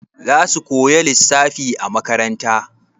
Za su koya lissafi a makaranta?